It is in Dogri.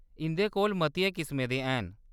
इंʼदे कोल मतियें किसमें दे हैन।